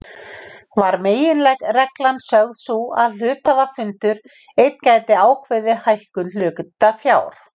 var meginreglan sögð sú að hluthafafundur einn gæti ákveðið hækkun hlutafjár.